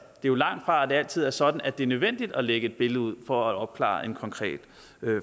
jo langt fra at det altid er sådan at det er nødvendigt at lægge et billede ud for at opklare en konkret